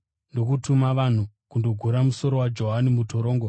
ndokutuma vanhu kundogura musoro waJohani mutorongo.